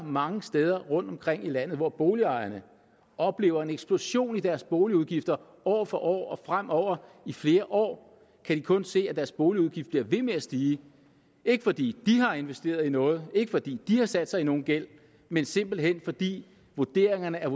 mange steder rundtomkring i landet hvor boligejerne oplever en eksplosion i deres boligudgifter år for år og fremover i flere år kan de kun se at deres boligudgift bliver ved med at stige ikke fordi de har investeret i noget ikke fordi de har sat sig i nogen gæld men simpelt hen fordi vurderingerne er